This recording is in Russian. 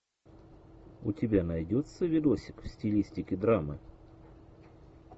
у тебя найдется видосик в стилистике драмы